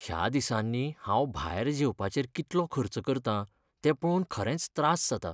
ह्या दिसांनी हांव भायर जेवपाचेर कितलो खर्च करता तें पळोवन खरेंच त्रास जाता .